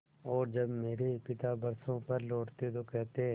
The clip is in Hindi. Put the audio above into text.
और जब मेरे पिता बरसों पर लौटते तो कहते